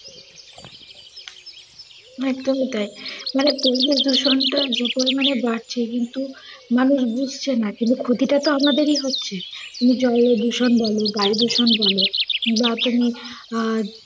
একদমই তাই। মানে পরিবেশ দূষণটা যে পরিমাণে বাড়ছে কিন্তু মানুষ বুঝছে না কিন্তু ক্ষতি টা তো আমদেরই হচ্ছে। তুমি জলদূষণ বল, বায়ু দূষণ বল বা তুমি আহ